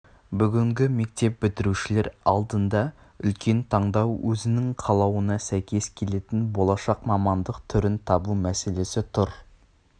бүгінгі мектеп бітірушілер алдында үлкен таңдау өзінің қалауына сәйкес келетін болашақ мамандық түрін табу мәселесі тұр